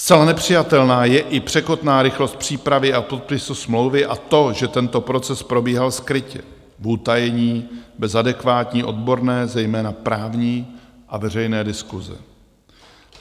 Zcela nepřijatelná je i překotná rychlost přípravy a podpisu smlouvy a to, že tento proces probíhal skrytě, v utajení, bez adekvátní odborné, zejména právní, a veřejné diskuse.